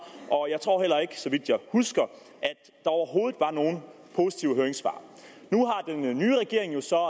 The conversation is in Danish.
og jeg tror heller ikke så vidt jeg husker overhovedet var nogle positive høringssvar nu har den nye regering jo så